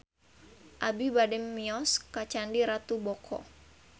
Abi bade mios ka Candi Ratu Boko